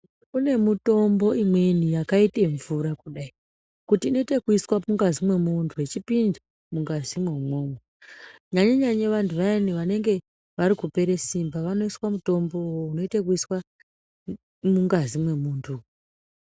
Kune mitombo imweni yakaite mvura kudai, kuti inoitwe yekuise mungazi mwemuntu yechipinda mungazi umwomwo nyanye-nyanye vantu vayani vanenge varikupera simba vanoiswe mutombo uwowo unoitwa wekuiswa mungazi mwemunhu.